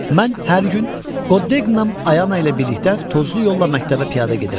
Mən hər gün Qodek Nam Ayana ilə birlikdə tozlu yolla məktəbə piyada gedirəm.